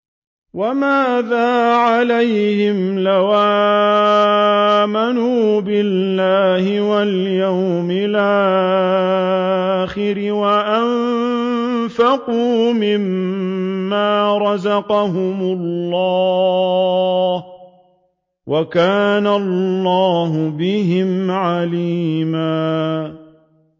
وَمَاذَا عَلَيْهِمْ لَوْ آمَنُوا بِاللَّهِ وَالْيَوْمِ الْآخِرِ وَأَنفَقُوا مِمَّا رَزَقَهُمُ اللَّهُ ۚ وَكَانَ اللَّهُ بِهِمْ عَلِيمًا